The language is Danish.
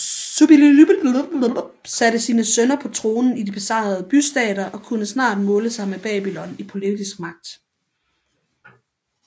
Suppiliuliuma satte sine sønner på tronen i de besejrede bystater og kunne snart måle sig med Babylon i politisk magt